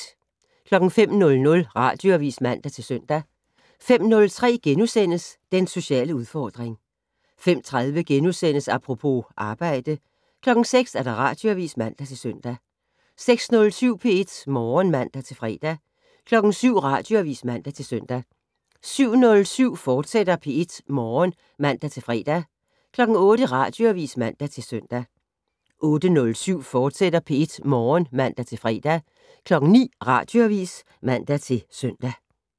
05:00: Radioavis (man-søn) 05:03: Den sociale udfordring * 05:30: Apropos - arbejde * 06:00: Radioavis (man-søn) 06:07: P1 Morgen (man-fre) 07:00: Radioavis (man-søn) 07:07: P1 Morgen, fortsat (man-fre) 08:00: Radioavis (man-søn) 08:07: P1 Morgen, fortsat (man-fre) 09:00: Radioavis (man-søn)